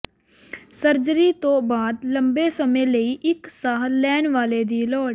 surgery ਤੋਂ ਬਾਅਦ ਲੰਬੇ ਸਮੇਂ ਲਈ ਇੱਕ ਸਾਹ ਲੈਣ ਵਾਲੇ ਦੀ ਲੋੜ